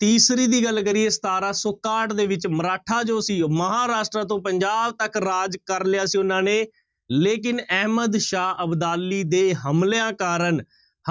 ਤੀਸਰੀ ਦੀ ਗੱਲ ਕਰੀਏ ਸਤਾਰਾਂ ਸੌ ਇਕਾਹਠ ਦੇ ਵਿੱਚ ਮਰਾਠਾ ਜੋ ਸੀ ਮਹਾਰਾਸ਼ਟਰ ਤੋਂ ਪੰਜਾਬ ਤੱਕ ਰਾਜ ਕਰ ਲਿਆ ਸੀ ਉਹਨਾਂ ਨੇ ਲੇਕਿੰਨ ਅਹਿਮਦਸ਼ਾਹ ਅਬਦਾਲੀ ਦੇ ਹਮਲਿਆਂ ਕਾਰਨ,